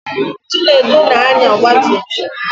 Chinedu na-anya ọgbatumtum.